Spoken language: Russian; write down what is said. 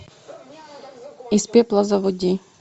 из пепла заводи